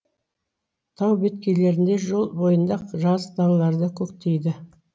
тау беткейлерінде жол бойында жазық далаларда көктейді